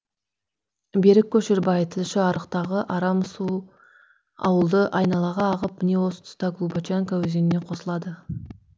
берік көшербай тілші арықтағы арам су ауылды айналаға ағып міне осы тұста глубочанка өзеніне қосылады